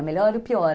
A melhor e o pior.